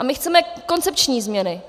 A my chceme koncepční změny.